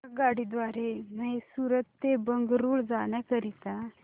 आगगाडी द्वारे मैसूर ते बंगळुरू जाण्या करीता